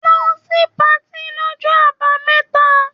Lọ sí patí lọ́jọ́ Àbámẹ́ta.